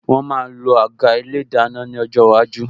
Wọn máa lo àga ilé ìdáná ní ọjọ́ iwájú